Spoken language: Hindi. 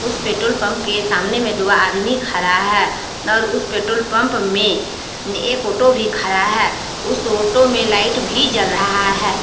उस पेट्रोल पंप के सामने में दो आदमी खड़ा है और उस पेट्रोल पंप में एक ऑटो भी खड़ा है उस ऑटो में लाइट भी जल रहा है।